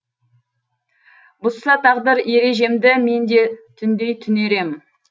бұзса тағдыр ережемді мен де түндей түнерем